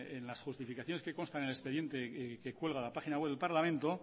en las justificaciones que constan en el expediente que cuelga la página web del parlamento